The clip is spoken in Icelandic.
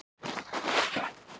Nú ætti það að geta komið sér vel.